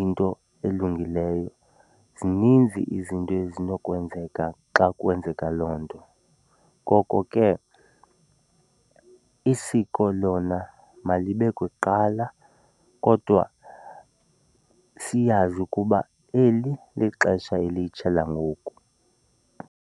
into elungileyo. Zininzi izinto ezinokwenzeka xa kwenzeka loo nto, ngoko ke isiko lona malibe kuqala kodwa siyazi ukuba eli lixesha elitsha langoku.